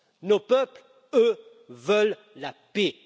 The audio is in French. Nos peuples, eux, veulent la paix.